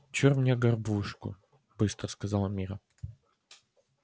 чур мне горбушку быстро сказала мирра